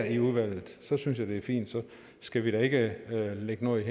i udvalget så synes jeg det er fint så skal vi da ikke lægge noget